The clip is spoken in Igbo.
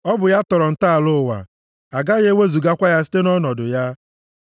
Ọ bụ ya tọrọ ntọala ụwa; agaghị ewezugakwa ya site nʼọnọdụ ya.